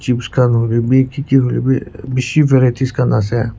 holehbhi bhi kiki holehbhi beshi varieties khan ase.